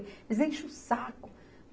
Eles enchem o saco.